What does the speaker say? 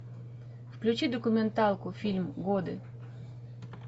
включи документалку фильм годы